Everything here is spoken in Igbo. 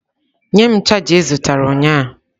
Nye m chaja ị zụtara ụnyahụ.